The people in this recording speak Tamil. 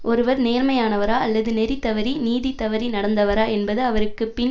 ஒருவர் நேர்மையானவரா அல்லது நெறி தவறி நீதி தவறி நடந்தவரா என்பது அவருக்கு பின்